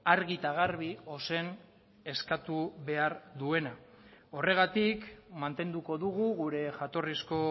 argi eta garbi ozen eskatu behar duena horregatik mantenduko dugu gure jatorrizko